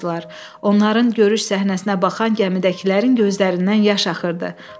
Onların görüş səhnəsinə baxan gəmidəkilərin gözlərindən yaş axırdı.